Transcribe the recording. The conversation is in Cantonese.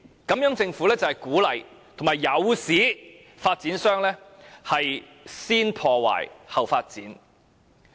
這樣政府就是鼓勵及誘使發展商"先破壞，後發展"。